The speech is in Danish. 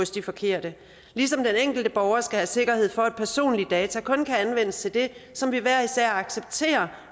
de forkerte ligesom den enkelte borger skal have sikkerhed for at personlige data kun kan anvendes til det som vi hver især accepterer